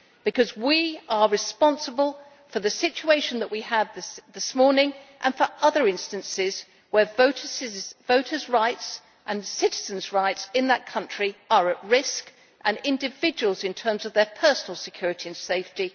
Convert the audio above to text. Because we are responsible for the situation that we have this morning and for other instances where voters' rights and citizens' rights in that country are at risk and individuals are also at risk in terms of their personal security and safety.